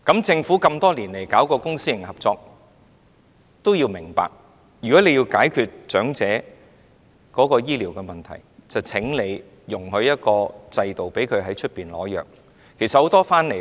政府推行公私營合作這麼多年，需要明白，若要解決長者醫療問題，便應制訂一個制度，讓他們可以在外面取藥。